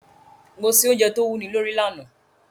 Mo se ounje to wúni lórí lanàá